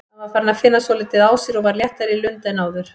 Hann var farinn að finna svolítið á sér og var léttari í lund en áður.